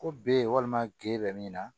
Ko ben walima gerenin na